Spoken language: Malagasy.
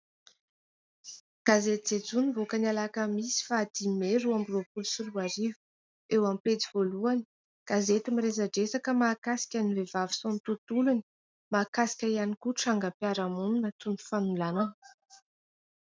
Gazety "Jejoo" nivoaka ny alakamisy faha dimy may roa amby roapolo sy roarivo. Eo amin'ny pejy voalohany, gazety miresadresaka ny vehivavy sy ny tontolony, mahakasika ihany koa trangam-piarahamonina toy ny fanolanana.